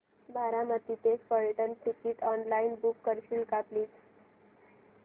बारामती ते Phaltan ticket online book करशील का प्लीज